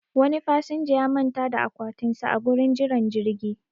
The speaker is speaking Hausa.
Wani fasinja ya manta da akwatin sa a gurin jiran jirgi